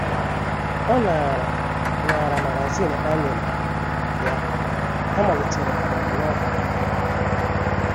Ọ naara naara magazin ha nyere ya, ha malitere ọmụmụ Novel.